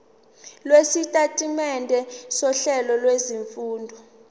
lwesitatimende sohlelo lwezifundo